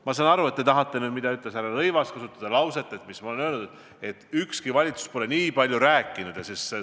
Ma saan aru, et te tahate nüüd kasutada lauset, mille ütles härra Rõivas: et ma olen öelnud, et ükski valitsus pole kliimast nii palju rääkinud.